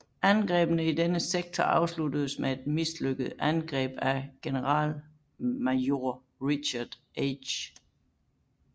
Angrebene i denne sektor afsluttedes med et mislykket angreb af generalmajor Richard H